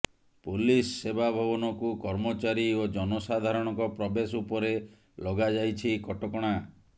police ସେବା ଭବନକୁ କର୍ମଚାରୀ ଓ ଜନସାଧାରଣଙ୍କ ପ୍ରବେଶ ଉପରେ ଲଗାଯାଇଛି କଟକଣା